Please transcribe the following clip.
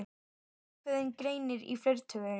Ákveðinn greinir í fleirtölu.